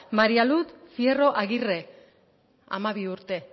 maria luz fierro aguirre hamabi urte